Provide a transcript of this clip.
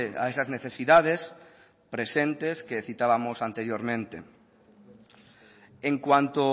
a esas necesidades presentes que citábamos anteriormente en cuanto